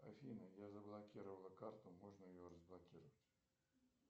афина я заблокировала карту можно ли ее разблокировать